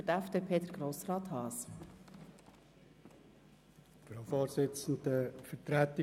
Für die FDP-Fraktion hat Grossrat Haas das Wort.